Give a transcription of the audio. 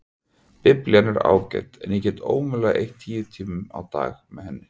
Biblían er ágæt en ég get ómögulega eytt tíu tímum á dag með henni.